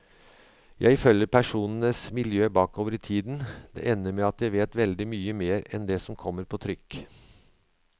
Jeg følger personenes miljø bakover i tiden, det ender med at jeg vet veldig mye mer enn det som kommer på trykk.